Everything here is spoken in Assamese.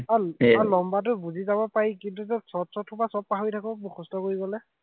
লম্বাটো বুজি যাব পাৰি, কিন্তু তোৰ চৰ্ট চৰ্ট সোপা সৱ পাহৰি থাকো, মুখস্থ কৰি গলে।